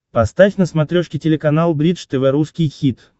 поставь на смотрешке телеканал бридж тв русский хит